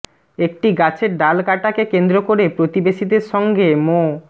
একটি গাছের ডাল কাটাকে কেন্দ্র করে প্রতিবেশীদের সঙ্গে মো